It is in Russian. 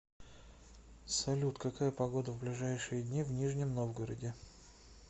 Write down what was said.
салют какая погода в ближайшие дни в нижнем новгороде